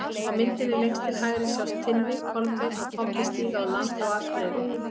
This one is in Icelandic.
Á myndinni lengst til hægri sjást Tinni, Kolbeinn og Tobbi stíga á land á Akureyri.